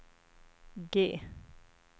G